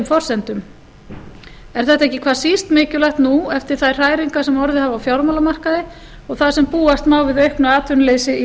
forsendum er þetta ekki hvað síst mikilvægt nú eftir þær hræringar sem orðið hafa á fjármálamarkaði og þar sem búast má við auknu atvinnuleysi í